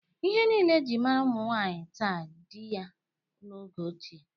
Ihe niile e ji mara ụmụ nwaanyị taa dị ya n'oge ochie.